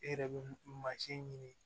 E yɛrɛ bɛ mansin ɲini